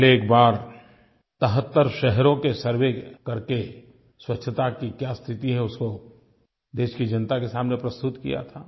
पहले एक बार 73 शहरों के सर्वे करके स्वच्छता की क्या स्थिति है उसको देश की जनता के सामने प्रस्तुत किया था